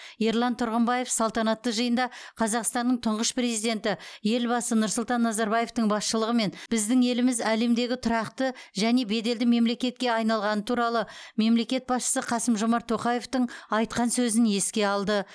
ерлан тұрғымбаев салтанатты жиында қазақстанның тұңғыш президенті елбасы нұрсұлтан назарбаевтың басшылығымен біздің еліміз әлемдегі тұрақты және беделді мемлекетке айналғаны туралы мемлекет басшысы қасым жомарт тоқаевтың айтқан сөзін еске алды